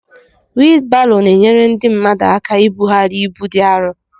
wịịlbarò na-enyere ndị mmadụ ákà íbughari ịbú dị árọ